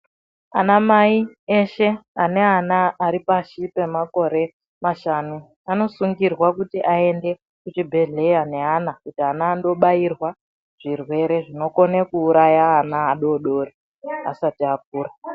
Anamai eshe ane ana aripashi pemakore mashanu, anosungirwa kuti ayende kuchibhedhleya ne ana, kuti ana andobhayirwa zvirwere zvinokone kuwuraya ana adodori, asati akura.